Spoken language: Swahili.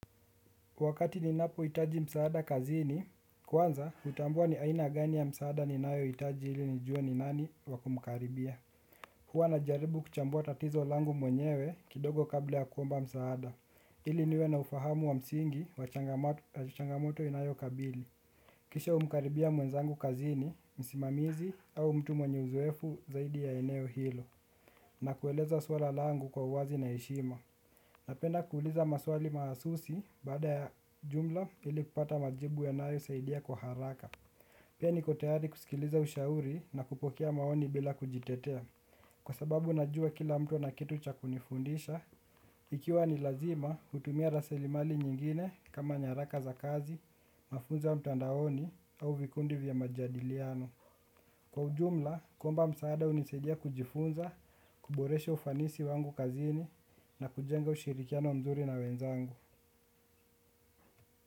Wakati ninapohitaji msaada kazini, kwanza hutambua ni aina gani ya msaada ninayohitaji ili nijue ni nani wa kumkaribia. Huwa najaribu kuchambua tatizo langu mwenyewe kidogo kabla ya kuomba msaada, ili niwe na ufahamu wa msingi wa changamoto inayokabili. Kisha humkaribia mwenzangu kazini, msimamizi au mtu mwenye uzoefu zaidi ya eneo hilo. Na kueleza swala langu kwa uwazi na heshima. Napenda kuuliza maswali mahasusi baada ya jumla ili kupata majibu yanayosaidia kwa haraka. Pia niko tayari kusikiliza ushauri na kupokea maoni bila kujitetea. Kwa sababu najua kila mtu ana kitu cha kunifundisha, ikiwa ni lazima hutumia rasilimali nyingine kama nyaraka za kazi, mafunzo ya mtandaoni au vikundi vya majadiliano. Kwa ujumla, kuomba msaada hunisaidia kujifunza, kuboresha ufanisi wangu kazini na kujenga ushirikiano mzuri na wenzangu.